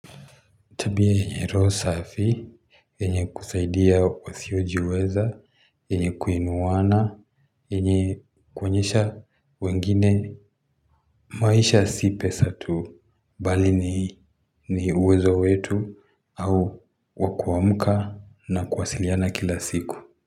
Tabia yenye roho safi yenye kusaidia wasiojiweza yenye kuinuana yenye kuonyesha wengine maisha si pesa tu bali ni uwezo wetu au wakuamka na kuwasiliana kila siku.